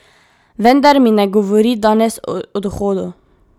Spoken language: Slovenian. Vendar mi ne govori danes o odhodu.